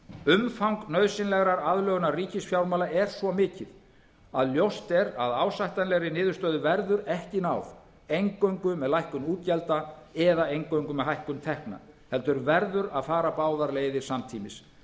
umfang nauðsynlegrar aðlögunar ríkisfjármála er svo mikið að ljóst er að ásættanlegri niðurstöðu verður ekki náð eingöngu með lækkun útgjalda eða eingöngu með hækkun tekna heldur verður að fara báðar leiðir samtímis